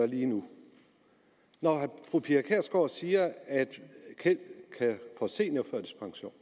lige nu når fru pia kjærsgaard siger at keld kan få seniorførtidspension